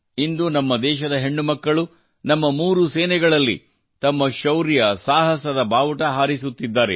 ಇಂದು ದೇಶದ ಹೆಣ್ಣು ಮಕ್ಕಳು ನಮ್ಮ ಮೂರು ಸೇನೆಗಳಲ್ಲಿ ತಮ್ಮ ಶೌರ್ಯ ಸಾಹಸದ ಬಾವುಟ ಹಾರಿಸುತ್ತಿದ್ದಾರೆ